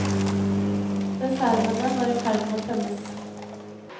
Reservene var i ferd med å tømmes.